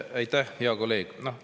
Aitäh, hea kolleeg!